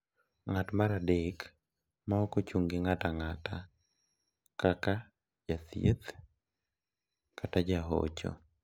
Ng'at mar adek ma ok ochung' gi ng'ato ang'ata, kaka jathieth kata jahocho,